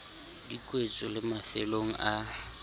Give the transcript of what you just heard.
di kwetswe le mafelong a